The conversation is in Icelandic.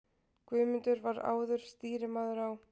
Guðmundur var áður stýrimaður á